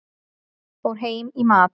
Fór heim í mat.